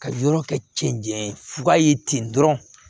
Ka yɔrɔ kɛ cɛncɛn ye fuga ye ten dɔrɔn